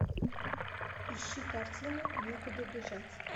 ищи картину некуда бежать